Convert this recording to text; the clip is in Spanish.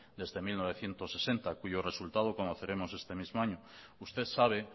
desde mil novecientos sesenta cuyo resultado conoceremos este mismo año usted sabe